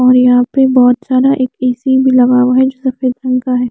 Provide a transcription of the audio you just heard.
और यहाँ पे बाहोत सारा एक ए सि भी लगा हुआ है जो सफ़ेद रंग का है।